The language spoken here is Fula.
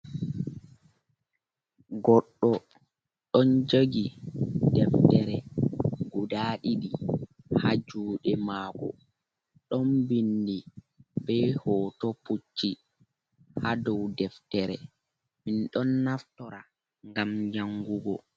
Goɗɗo ɗon jogi deftere guda ɗidi ha jude mako ɗon bindi be hoto pucci ha dow deftere min ɗon naftora gam jangugo.